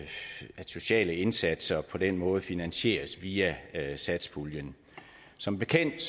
sociale indsatser på den måde finansieres via satspuljen som bekendt